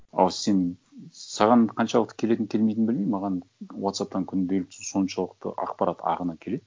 ал сен саған қаншалықты келетінін келмейтінін білмеймін маған уотсапптан күнделікті соншалықты ақпарат ағыны келеді